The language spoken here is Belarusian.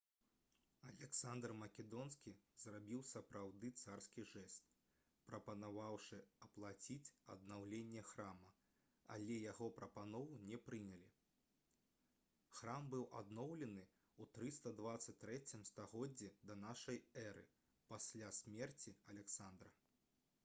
аляксандр македонскі зрабіў сапраўды царскі жэст прапанаваўшы аплаціць аднаўленне храма але яго прапанову не прынялі храм быў адноўлены ў 323 стагоддзі да нашай эры пасля смерці аляксандра